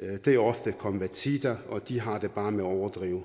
det er ofte konvertitter og de har det bare med at overdrive